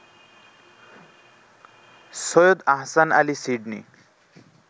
Syed Ahsan Ali Sydney